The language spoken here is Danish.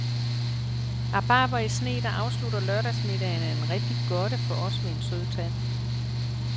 Rabarber i sne, der afslutter lørdagsmiddagen, er en rigtig godte for os med en sød tand.